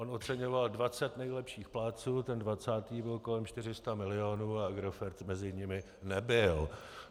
On oceňoval 20 nejlepších plátců, ten 20. byl kolem 400 milionů a Agrofert mezi nimi nebyl.